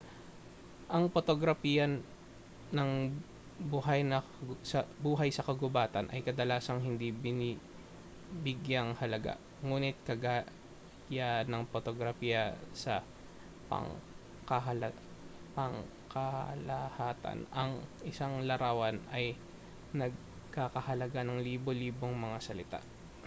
ang potograpiya ng buhay sa kagubatan ay kadalasang hindi binibigyang-halaga nguni't kagaya ng potograpiya sa pangkalahatan ang isang larawan ay nagkakahalaga ng libo-libong mga salita